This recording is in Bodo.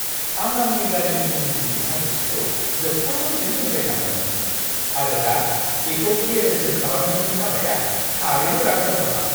आं आंनि गारिनि इन्जिननि सार्भिसिंखौ जोबथा समसिम दोनबाय थादोंमोन, आरो दा बेखौ गेरेजजों खालामनायनि हाबाया थारैनो राग जाथावना!